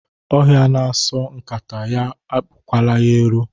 Ọhịa na-asọ nkata ya epukwala ero.